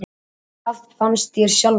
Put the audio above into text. Og hvað fannst þér sjálfum?